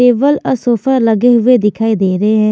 table uh sofa लगे हुए दिखाई दे रहे--